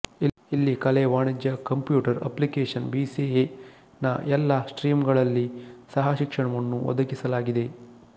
ಇಲ್ಲಿ ಕಲೆ ವಾಣಿಜ್ಯ computer application B C A ನ ಎಲ್ಲಾ ಸ್ಟ್ರೀಮ್ಗಳಲ್ಲಿ ಸಹಶಿಕ್ಷಣವನ್ನು ಒದಗಿಸಲಾಗಿದೆ